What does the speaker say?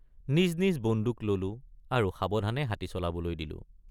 নিজ নিজ বন্দুক ললোঁ আৰু সাৱধানে হাতী চলাবলৈ দিলোঁ।